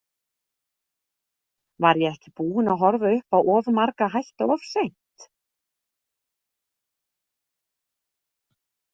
Var ég ekki búin að horfa upp á of marga hætta of seint?